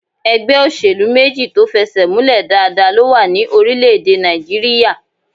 Ẹgbẹ́ òṣèlú méjì tó fẹsẹ̀múlẹ̀ dáadáa ló wà ní orílẹ̀-èdè Nàìjíríyà